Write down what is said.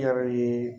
I yɛrɛ ye